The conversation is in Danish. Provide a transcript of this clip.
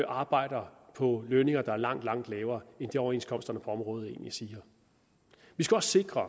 arbejder på lønninger der er langt langt lavere end det overenskomsterne på området egentlig siger vi skal også sikre at